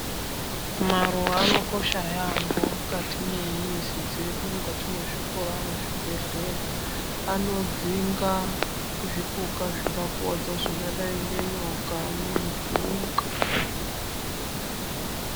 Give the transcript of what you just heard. Maruwa anokosha yambho mukati mwemizi dzedu, mukati mwezikora nezvibhedhleya anodzinga zvipuka zvingakuwadza zvakadai ngenyoka nenhunga.